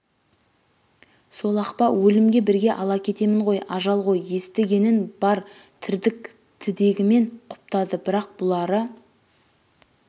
сол-ақ па өлімге бірге ала кетемін ғой ажал ғой есті-генін бар тірдік тідегімен құптады бірақ бұлары